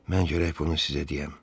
Mən gərək bunu sizə deyəm.